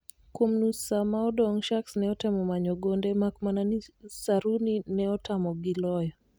Kuom nus saa ma odong Sharks ne otemo manyo gonde makmana ni Saruni ne otamogi loyo